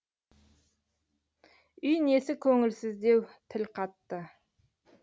үй несі көңілсіздеу тіл қатты